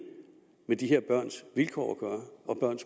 med de her børns vilkår og